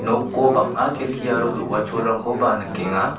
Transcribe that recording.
noko bang·a kelki aro do·gacholrangkoba nikenga.